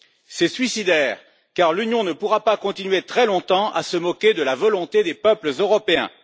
C'est suicidaire, car l'Union ne pourra pas continuer très longtemps à se moquer de la volonté des peuples européens.